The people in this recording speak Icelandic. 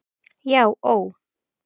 Já ó.